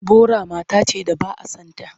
Bora mata ce da ba a son ta.